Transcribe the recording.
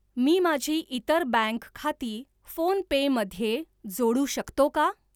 मी माझी इतर बँक खाती फोनपे मध्ये जोडू शकतो का?